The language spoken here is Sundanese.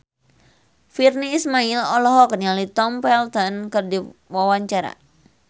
Virnie Ismail olohok ningali Tom Felton keur diwawancara